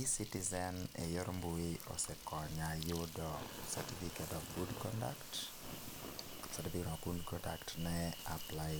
Ecitizen e yor mbui osekonya yudo certificate of good conduct, certificate of good conduct ne apply